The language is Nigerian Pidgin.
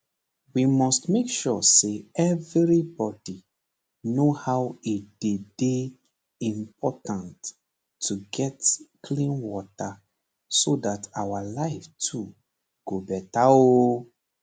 we must make sure say everybodi know how e dey dey important to get clean water so dat our life too go beta oooo